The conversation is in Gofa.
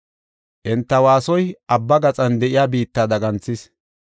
Enta waasoy abba gaxaa de7iya biitta daganthis.